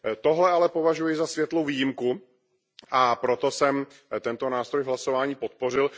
Toto ale považuji za světlou výjimku, a proto jsem tento nástroj v hlasování podpořil.